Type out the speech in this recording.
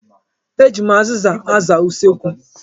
Eji m azịza aza usekwu.